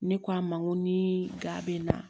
Ne k'a ma n ko ni ga